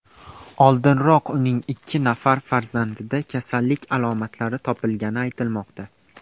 Oldinroq uning ikki nafar farzandida kasallik alomatlari topilgani aytilmoqda.